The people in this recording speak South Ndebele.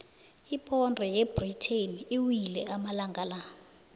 iponde yebritain iwile amalangana la